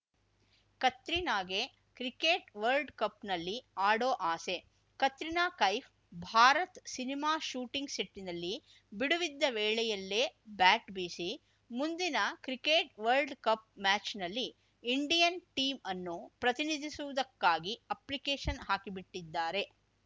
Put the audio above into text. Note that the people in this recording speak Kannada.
ಕತ್ರಿನಾಗೆ ಕ್ರಿಕೆಟ್‌ ವರ್ಲ್ಡ್ ಕಪ್‌ನಲ್ಲಿ ಆಡೋ ಆಸೆ ಕತ್ರಿನಾ ಕೈಫ್‌ ಭಾರತ್‌ ಸಿನಿಮಾ ಶೂಟಿಂಗ್‌ ಸೆಟ್‌ನಲ್ಲಿ ಬಿಡುವಿದ್ದ ವೇಳೆಯಲ್ಲೇ ಬ್ಯಾಟ್‌ ಬೀಸಿ ಮುಂದಿನ ಕ್ರಿಕೆಟ್‌ ವರ್ಲ್ಡ್ ಕಪ್‌ ಮ್ಯಾಚ್‌ನಲ್ಲಿ ಇಂಡಿಯನ್‌ ಟೀಂ ಅನ್ನು ಪ್ರತಿನಿಧಿಸುವುದಕ್ಕಾಗಿ ಅಪ್ಲಿಕೇಷನ್‌ ಹಾಕಿ ಬಿಟ್ಟಿದ್ದಾರೆ